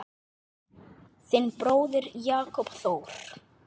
Þinn bróðir, Jakob Þór.